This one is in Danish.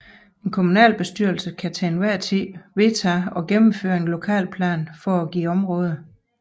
En kommunalbestyrelse kan til enhver tid vedtage at gennemføre en lokalplan for et givet område